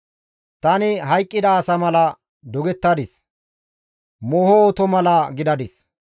Tani hayqqida asa mala dogettadis; mooho oto mala gidadis.